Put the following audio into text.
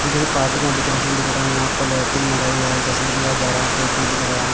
ये किसी पार्टी वाटी का डेकोरेशन दिख रहा हैं यहाँ पर लाइटिंग लगाई गया हैं जश्न किया जा रहा हैं टेप भी दिख रहा हैं।